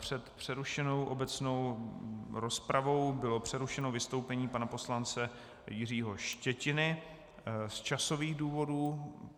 Před přerušenou obecnou rozpravou bylo přerušeno vystoupení pana poslance Jiřího Štětiny z časových důvodů.